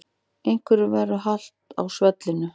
Einhverjum verður halt á svellinu